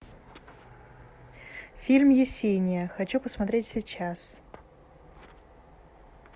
фильм есения хочу посмотреть сейчас